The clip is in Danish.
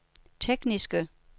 tekniske